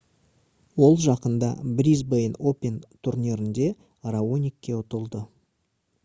ол жақында brisbane open турнирінде раоникке ұтылды